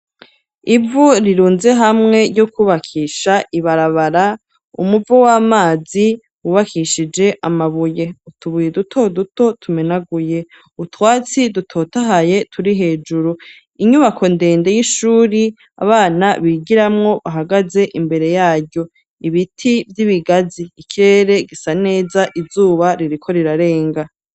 Ivu rirunze hamwe ryo kubakisha ibarabara umuvo w'amazi wubakishije amabuye utubuye duto duto tumenaguye utwatsi dutotahaye turi hejuru inyubako ndende y'ishuri abana bigiramwo bahagaze imbere yaryo ibiti vy'ibigazi ikirere gisa neza izuba ririkorirarenga.